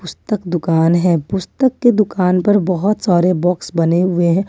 तक दुकान है पुस्तक के दुकान पर बहोत सारे बॉक्स बने हुए हैं ।